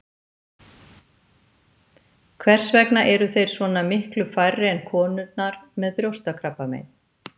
Hvers vegna eru þeir svona miklu færri en konurnar með brjóstakrabbamein?